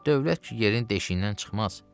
Dövlət ki yerin deşiyindən çıxmaz.